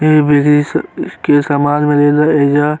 के सामान मिले ला एइजा।